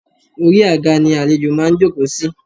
Orí àga ni àlejò máa ń jòkó sí